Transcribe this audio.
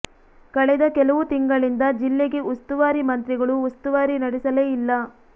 ಕಳೆದ ಕೆಲವು ತಿಂಗಳಿಂದ ಜಿಲ್ಲೆಗೆ ಉಸ್ತುವಾರಿ ಮಂತ್ರಿಗಳು ಉಸ್ತುವಾರಿ ನಡೆಸಲೇ ಇಲ್ಲ